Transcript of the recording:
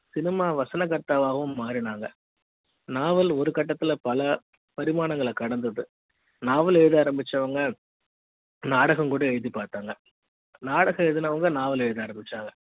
cinema வசனகர்த்தாவாகவும் மாறினாங்க novel ஒரு கட்டத்துல பல பரிமாணங்களை கடந்தது நாவல் எழுத ஆரம்பிச்சவங்க நாடகம் கூட எழுதிப் பார்த்தாங்க நாடகம் எழுதுனவங்க நாவல எழுத ஆரம்பிச்சாங்க